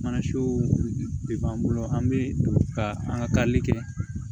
Mana siw b'an bolo an bɛ ka an ka kali kɛ